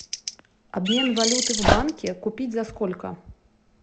обмен валюты в банке купить за сколько